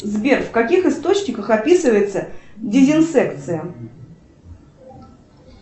сбер в каких источниках описывается дезинсекция